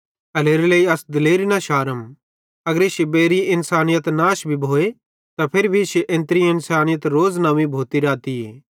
एल्हेरेलेइ अस दिलेरी न शारम अगर इश्शी बेइरीं इन्सानयत नाश भी भोए त फिरी भी इश्शी एनत्रीं इन्सानयत रोज़ नव्वीं भोती रहतीए